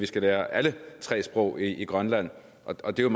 skal lære alle tre sprog i grønland og det er